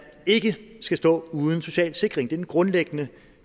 ikke skal stå uden social sikring den grundlæggende